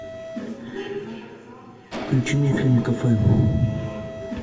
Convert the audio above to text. включи мне фильм кафе